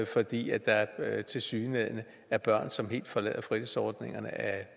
fordi der tilsyneladende er børn som helt forlader fritidsordningerne af